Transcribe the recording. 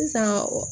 Sisan